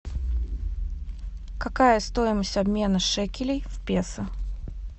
какая стоимость обмена шекелей в песо